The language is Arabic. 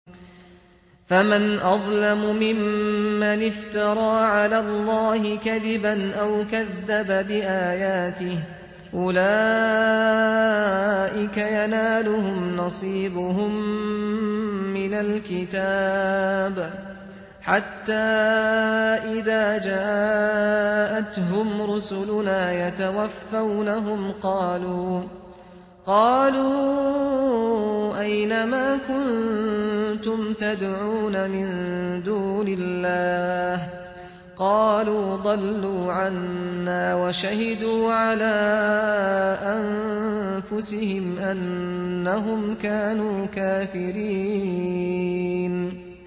فَمَنْ أَظْلَمُ مِمَّنِ افْتَرَىٰ عَلَى اللَّهِ كَذِبًا أَوْ كَذَّبَ بِآيَاتِهِ ۚ أُولَٰئِكَ يَنَالُهُمْ نَصِيبُهُم مِّنَ الْكِتَابِ ۖ حَتَّىٰ إِذَا جَاءَتْهُمْ رُسُلُنَا يَتَوَفَّوْنَهُمْ قَالُوا أَيْنَ مَا كُنتُمْ تَدْعُونَ مِن دُونِ اللَّهِ ۖ قَالُوا ضَلُّوا عَنَّا وَشَهِدُوا عَلَىٰ أَنفُسِهِمْ أَنَّهُمْ كَانُوا كَافِرِينَ